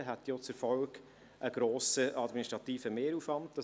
Dies hätte auch einen grossen administrativen Mehraufwand zur Folge.